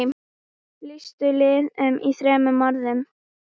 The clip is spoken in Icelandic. Lýstu liðinu í þremur orðum?